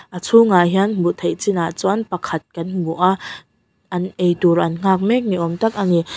a chhungah hian hmuh theih chinah chuan pakhat kan hmu a an ei tur an nghak mek niawm tak a ni.